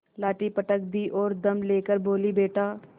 लाठी पटक दी और दम ले कर बोलीबेटा